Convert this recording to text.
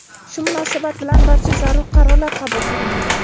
Shu munosabat bilan barcha zarur qarorlar qabul qilindi.